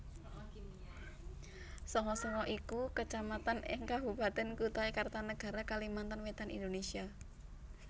Sanga Sanga iku Kecamatan ing Kabupatèn Kutai Kartanegara Kalimantan Wétan Indonesia